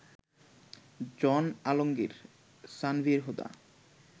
John Alamgir, Sanvir Huda